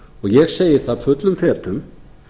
ég segi það fullum fetum